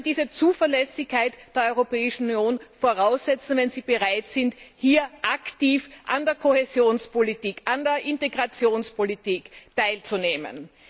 Sie können diese Zuverlässigkeit der Europäischen Union voraussetzen, wenn sie bereit sind, hier aktiv an der Kohäsionspolitik, an der Integrationspolitik teilzunehmen.